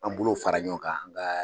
An bolow fara ɲɔgɔn kan an ka